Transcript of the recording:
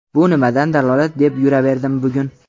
Bu nimadan dalolat deb yuraverdim bugun.